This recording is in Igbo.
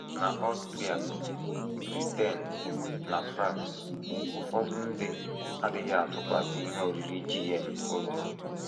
N’Austria, Britain, na France, ụfọdụ ndị adịghị atụkwasị ihe oriri GM obi.